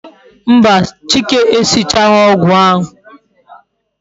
Mba, chike e sichaghi ogwu ahu